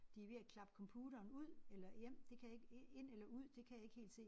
De er ved at klappe computeren ud eller hjem det kan jeg ikke øh ind eller ud det kan jeg ikke helt se